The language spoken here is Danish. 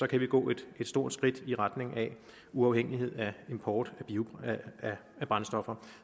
kan vi gå et stort skridt i retning af uafhængighed af import af brændstoffer